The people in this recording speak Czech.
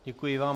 Děkuji vám.